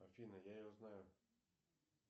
афина я ее знаю